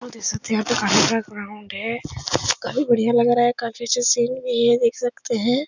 और देख सकते काफी बड़ा ग्राउंड है काफी बढ़िया लग रहा है। काफी अच्छा सीन भी देख सकते हैं।